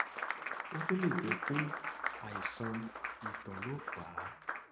ó tún lè jẹ pé àìsàn ìtọ ló fà á